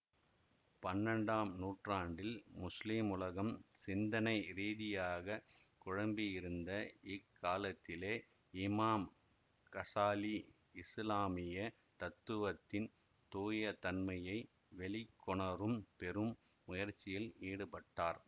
பன்னெண்டாம் நூற்றாண்டில் முஸ்லிம் உலகம் சிந்தனை ரீதியாகக் குழம்பியிருந்த இக்காலத்திலே இமாம் கசாலி இசுலாமிய தத்துவத்தின் தூயதன்மையை வெளிக்கொணரும் பெரும் முயற்சியில் ஈடுபட்டார்